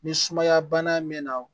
Ni sumaya bana mɛnna